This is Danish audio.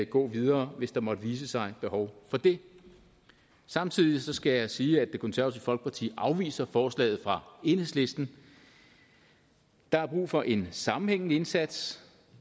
gå videre hvis der måtte vise sig behov for det samtidig skal jeg sige at det konservative folkeparti afviser forslaget fra enhedslisten der er brug for en sammenhængende indsats